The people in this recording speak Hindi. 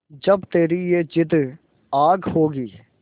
जब तेरी ये जिद्द आग होगी